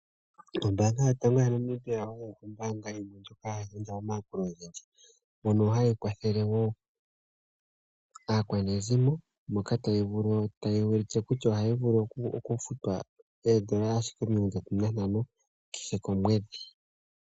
Ombaanga yotango yaNamibia oyo ombaanga yimwe ndjoka hayi gandja omayakulo ogendji. Mono hayi kwathele wo aakwanezimo, moka tayi ulike kutya ohayi vulu okufutwa N$35 ashike kehe komwedhi.